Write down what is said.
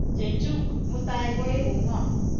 Chechuk mutai koeku ng'o?